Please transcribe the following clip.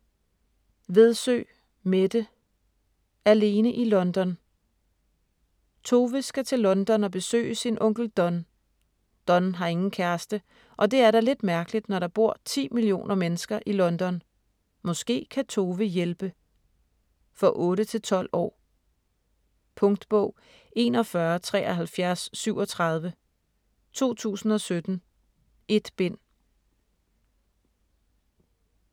Vedsø, Mette: Alene i London Tove skal til London og besøge sin onkel Don. Don har ingen kæreste, og det er da lidt mærkeligt, når der bor 10 millioner mennesker i London. Måske kan Tove hjælpe. For 8-12 år. Punktbog 417337 2017. 1 bind.